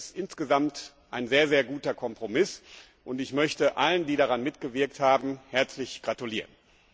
Das ist insgesamt ein sehr guter Kompromiss, und ich möchte allen, die daran mitgewirkt haben, herzlich gratulieren!